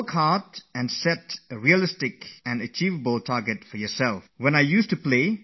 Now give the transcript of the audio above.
You should definitely work hard but set a realistic and achievable target for yourself, and then try to achieve that target